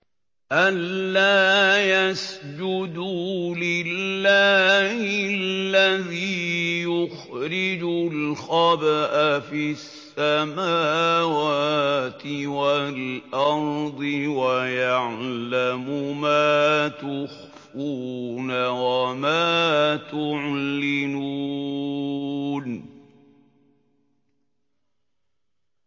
أَلَّا يَسْجُدُوا لِلَّهِ الَّذِي يُخْرِجُ الْخَبْءَ فِي السَّمَاوَاتِ وَالْأَرْضِ وَيَعْلَمُ مَا تُخْفُونَ وَمَا تُعْلِنُونَ